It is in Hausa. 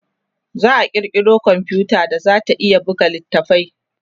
za'a kirkiro komfuta da zata iya buga littafai